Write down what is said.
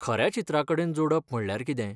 खऱ्या चित्राकडेन जोडप म्हणल्यार कितें?